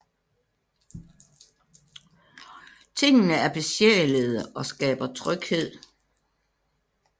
Tingene er besjælede og skaber tryghed